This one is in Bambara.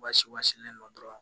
Basi ba sinnen don dɔrɔn